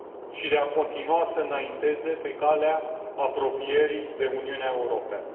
și de a continua să înainteze pe calea apropierii de Uniunea Europeană.